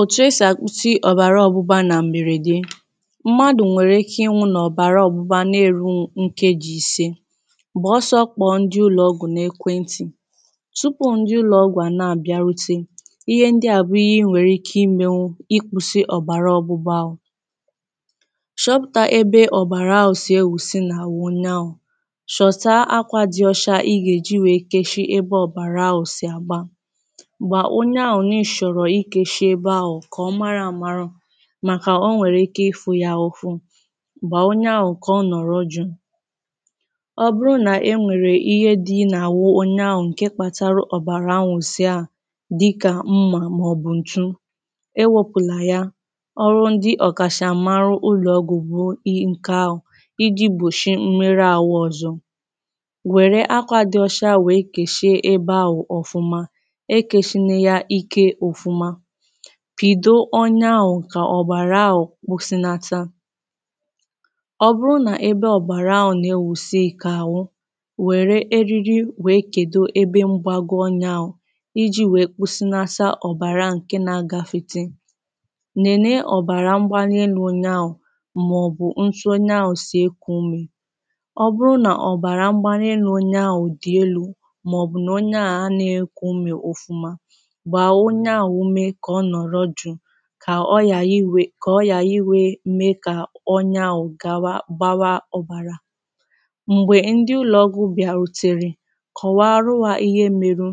òtù esì àkwụsị ọ̀bàrà ọgbụgba nà m̀bèrèdee mmadù nwèrè ike ịnwu̇ nà ọ̀bàrà ọgbụgba na-èrù nkeji ìse gbàọsọ̇ kpọ̀ ndị ụlọ̀ọgwù n’ekwentì tupu ndị ụlọ̀ọgwù à na-àbịarute ihe ndị à bụ̀ ihe ịnwèrè ike imė nwu ịkwu̇sị ọ̀bàrà ọgbụgba ahù chọpùta ebe ọ̀bàrà awù sì ewùsị nà àwụ onye awù chọ̀ta akwȧ dị ọcha ịgà èji wèe keshi ebe ọ̀bàrà awù sì àgba kà ọ mara mara mànà onwèrè ike ịfụ ya ụfụ gbàà onye ahụ̀ kà ọ nọ̀rọ juu ọ bụrụ nà onwèrè ihe dị nà-àwụ onye ahụ̀ ǹke kpatara ọ̀bàrà nwụ̀sịa dịkà mmà màọ̀bụ̀ ǹtụụ ewėpụ̀là ya ọrụ ndị ọ̀kàchà mara ụlọ̀ ọgwùgwù i ǹke ahụ̀ iji̇ gbòchìi mmerụ àwụ ọ̀zọ wèrè akwȧ dị ọcha wèe kèshìe ebe ahụ̀ ọ̀fụma pìdo ọnyaàụ̀ kà ọ̀bàrà ahụ̀ kpùsịnata ọbụrụ nà ebe ọ̀bàrà ahụ̀ nà ewùsị kà àwụ wère eriri wèe kèdo ebe mgbago ọnya iji wèe kwùsịnata ọ̀bàrà ǹke nȧ-ȧgȧfete nène ọ̀bàrà mgbanelu̇ onye ahụ̀ màọ̀bụ̀ ntụ onye ahụ̀ sì ekù umè ọbụrụ nà ọ̀bàrà mgbanelu̇ onye ahụ̀ dì elu̇ màọ̀bụ̀ nà onye ahụ̀ anẹ ekù umè ụfụma ka ọyà iwė ka ọyà iwė mee ka ọnya ahụ gawa gbawa ọbarà mgbe ndị ụlọ̀ọgwụ̀ bịarutèrè kọwarụ hà ihe meru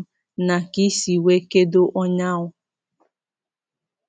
nà ka ị si wee kedo ọya ahụ̀